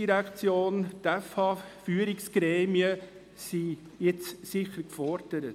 Die ERZ und die BFH-Führungsgremien sind nun sicher gefordert.